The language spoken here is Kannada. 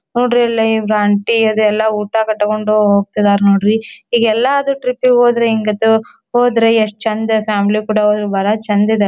ನೋಡ್ರಿ ಇಲ್ಲಿ ಇವರೂ ಆಂಟಿ ಅದೆಲ್ಲ ಊಟ ಎಲ್ಲ ಕಟಕೊಂಡು ಹೋಗತಿದ್ದರ ನೋಡ್ರಿ ಈಗ ಎಲ್ಲದ್ರು ಟ್ರಿಪ್ಗೆ ಹೋದ್ರು ಹೆಂಗಾತು ಹೋದ್ರ ಎಸ್ಟ್ ಚಂದ್ ಫ್ಯಾಮಿಲಿ ಕೂಡ ಹೋದ್ರ ಬಹಳ ಚಂದ್ ಇದ--